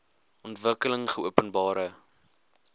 ontwikkelingopenbare